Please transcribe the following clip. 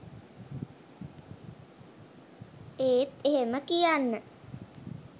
ඒත් එහෙම කියන්න